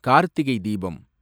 Karthigai Deepam